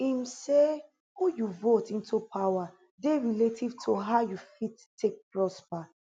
im say who you vote into power dey relative to how you fit take prosper